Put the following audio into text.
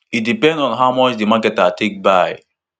e depend on how di marketer take buy